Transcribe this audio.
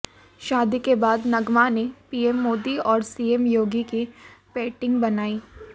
शादी के बाद नगमा ने पीएम मोदी और सीएम योगी की पेंटिंग बनाई